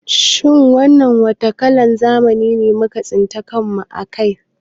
Shin wannan wata kalan zamani muka tsinci kan mu a kai